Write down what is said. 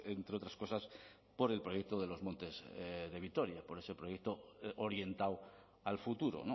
entre otras cosas por el proyecto de los montes de vitoria con ese proyecto orientado al futuro